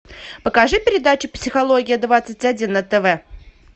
покажи передачу психология двадцать один на тв